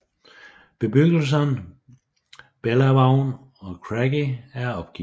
Bebyggelserne Bellavaun og Craggy er opgivet